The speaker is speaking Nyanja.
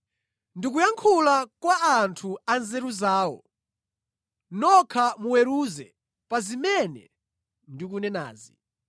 Ndikuyankhula kwa a anthu anzeru zawo, nokha muweruze pa zimene ndikunenazi.